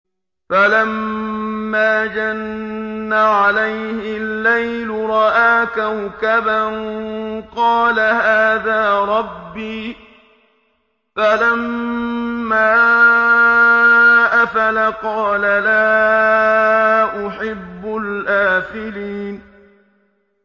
فَلَمَّا جَنَّ عَلَيْهِ اللَّيْلُ رَأَىٰ كَوْكَبًا ۖ قَالَ هَٰذَا رَبِّي ۖ فَلَمَّا أَفَلَ قَالَ لَا أُحِبُّ الْآفِلِينَ